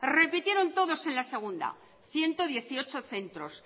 repitieron todos en la segunda ciento dieciocho centros